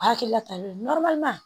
A hakilila ta be ye